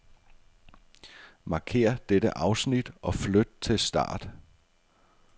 Markér dette afsnit og flyt til start.